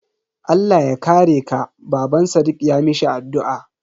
Allah ya kare ka, Baban sadiq ya mishi addu'a.